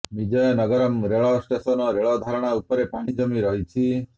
ବିଜୟନଗରମ୍ ରେଳ ଷ୍ଟେସନ୍ ରେଳ ଧାରଣା ଉପରେ ପାଣି ଜମି ରହିଛି